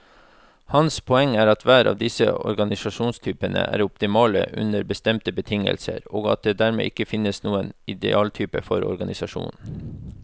Hans poeng er at hver av disse organisasjonstypene er optimale under bestemte betingelser, og at det dermed ikke finnes noen idealtype for organisasjoner.